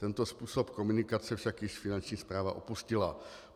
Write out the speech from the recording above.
Tento způsob komunikace však již Finanční správa opustila.